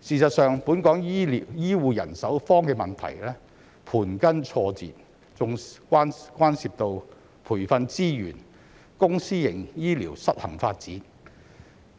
事實上，本港醫護人手荒的問題盤根錯節，還牽涉到培訓資源、公私營醫療失衡發展、